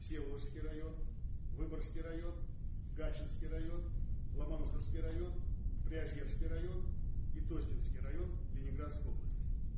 всеволожский район выборгский район гатчинский район ломоносовский район приозерский район и тосненский район ленинградской области